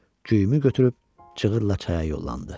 Güyümü götürüb çığırdı da çaya yollanır.